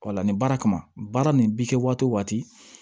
wala ni baara kama baara nin bi kɛ waati o waati